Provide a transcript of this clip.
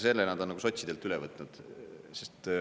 Selle nad on sotsidelt üle võtnud.